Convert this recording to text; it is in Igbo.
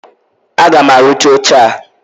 Aga m arụcha oche a!